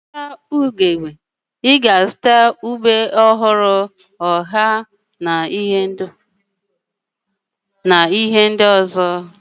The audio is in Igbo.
Na ahịa Odegbe, ị ga-azụta ube ọhụrụ, akwụkwọ nri ọha, akwụkwọ nri ugu na ọtụtụ ihe ndị ọzọ